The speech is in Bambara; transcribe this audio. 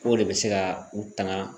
K'o de bɛ se ka u tanga